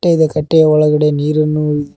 ಕಟ್ಟೆ ಇದೆ ಕಟ್ಟೆಯ ಒಳಗಡೆ ನೀರನ್ನು--